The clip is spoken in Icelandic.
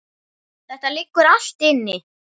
Þetta liggur allt inni